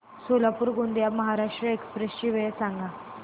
Solapur Gondia Maharashtra express ची वेळ सांगा